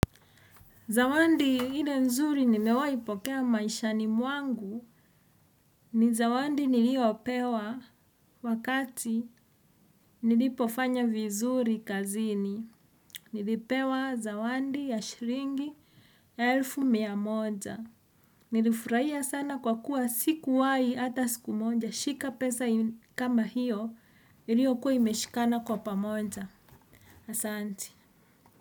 Zawadi ile nzuri nimewahi pokea maishani mwangu ni zawadi niliyopewa wakati nilipofanya vizuri kazini. Nilipewa zawadi ya shilingi elfu mia moja. Nilifurahia sana kwa kuwa sikuwahi hata siku moja shika pesa kama hiyo iliyokuwa imeshikana kwa pamoja. Asanti.